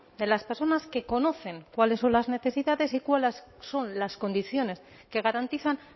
de las personas que conocen cuáles son las necesidades y cuáles son las condiciones que garantizan